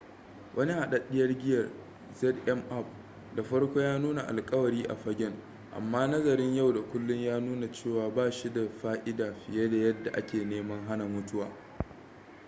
wani hadaddiyar giyar zmapp da farko ya nuna alƙawari a fagen amma nazarin yau da kullun ya nuna cewa ba shi da fa'ida fiye da yadda ake neman hana mutuwa